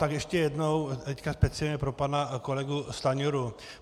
Tak ještě jednou, teď speciálně pro pana kolegu Stanjuru.